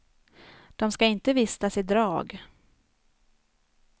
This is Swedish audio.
De ska inte vistas i drag.